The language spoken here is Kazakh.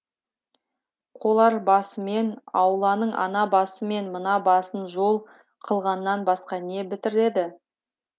қоларбасымен ауланың ана басы мен мына басын жол қылғаннан басқа не бітіреді